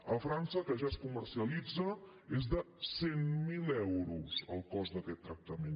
a frança que ja s’hi comercialitza és de cent mil euros el cost d’aquest tractament